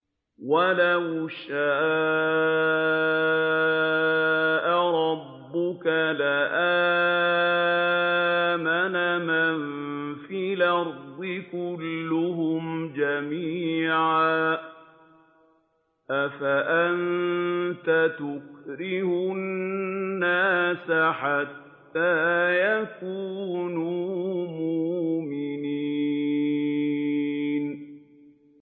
وَلَوْ شَاءَ رَبُّكَ لَآمَنَ مَن فِي الْأَرْضِ كُلُّهُمْ جَمِيعًا ۚ أَفَأَنتَ تُكْرِهُ النَّاسَ حَتَّىٰ يَكُونُوا مُؤْمِنِينَ